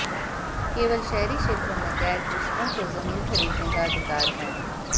केवल शहरी क्षेत्रों में गैर कृषकों को जमीन खरीदने का अधिकार है